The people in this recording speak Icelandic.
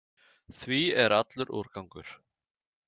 Því er allur úrgangur.